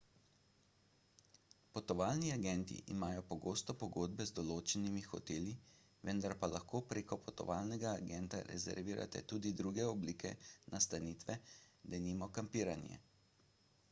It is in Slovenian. potovalni agenti imajo pogosto pogodbe z določenimi hoteli vendar pa lahko prek potovalnega agenta rezervirate tudi druge oblike nastanitve denimo kampiranje